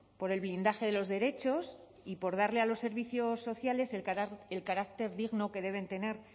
por el blindaje de los derechos y por darle a los servicios sociales el carácter digno que deben tener